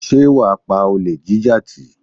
Sé wà á pa olè jíjà tì?